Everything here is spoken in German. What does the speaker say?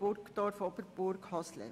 Burgdorf–Oberburg–Hasle.